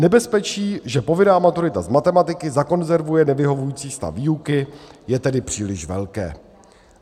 Nebezpečí, že povinná maturita z matematiky zakonzervuje nevyhovující stav výuky, je tedy příliš velké.